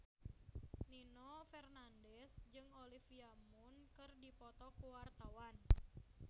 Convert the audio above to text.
Nino Fernandez jeung Olivia Munn keur dipoto ku wartawan